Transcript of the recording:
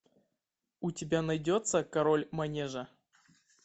у тебя найдется король манежа